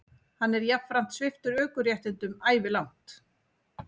Hann er jafnframt sviptur ökuréttindum ævilangt